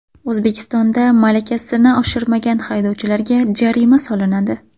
O‘zbekistonda malakasini oshirmagan haydovchilarga jarima solinadi.